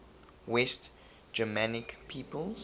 west germanic peoples